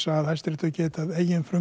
að Hæstiréttur geti